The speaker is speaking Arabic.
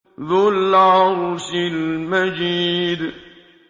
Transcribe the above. ذُو الْعَرْشِ الْمَجِيدُ